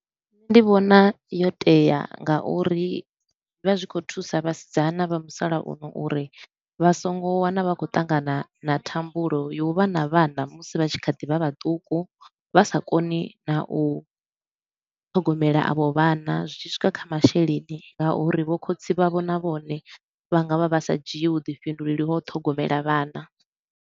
Nṋe ndi vhona yo tea nga uri zwi vha zwi khou thusa vhasidzana vha musalauno uri vha so ngo wana vha khou ṱangana na thambulo ya u vha na vhana musi vha tshi kha ḓi vha vhaṱuku vha sa koni na u ṱhogomela avho vhana zwi tshi swika kha masheleni nga uri vho khotsi vhavho na vhone vha nga vha vha sa dzhii vhuḓifhinduleli ha u ṱhogomela vhana.